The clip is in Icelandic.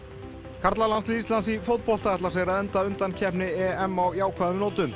karlalandslið Íslands í fótbolta ætlar sér að enda undankeppni EM á jákvæðum nótum